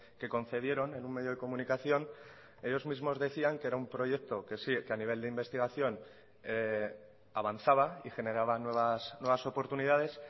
que concedieron en un medio de comunicación ellos mismos decían que era un proyecto que sí que a nivel de investigación avanzaba y generaba nuevas oportunidades